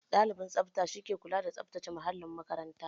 Ɗalibin tsabta shi ke kula da tsabtace muhallin makaranta